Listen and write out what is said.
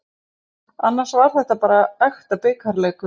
Annars var þetta var bara ekta bikarleikur.